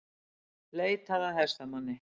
Leitað að hestamanni